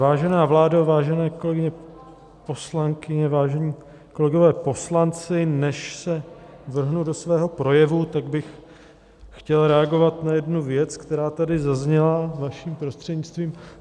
Vážená vládo, vážené kolegyně poslankyně, vážení kolegové poslanci, než se vrhnu do svého projevu, tak bych chtěl reagovat na jednu věc, která tady zazněla, vaším prostřednictvím.